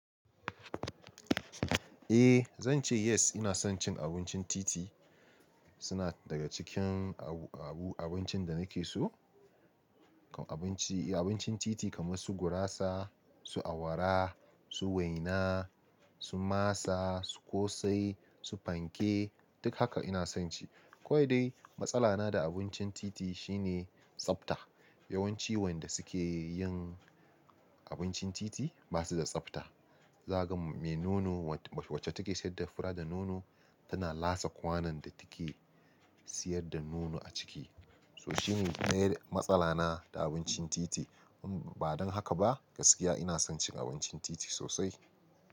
Eh zan ce yes. Ina son cin abincin titi. Suna daga cikin abincin da nake so. Abinci, abincin titi kamar su gurasa, su awara, su waina, su masa, su ƙosai, su fanke duk haka ina son ci. Ko dai matsala na da abincin titi shine tsafta. Yawanci wanda suke yin abincin titi ba su da tsafta. Zaka ga me nono wacce take sayar da fura da nono tana lasa kwanon da take siyar da nono a ciki. So shine dai matsala na da abincin titi. Ba don haka ba gaskiya ina son cin abincin titi sosai.